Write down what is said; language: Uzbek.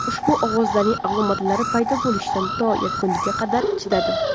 Ushbu ovozlarning alomatlari paydo bo‘lishidan to yakuniga qadar chidadim.